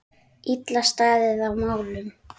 Illa staðið að málum.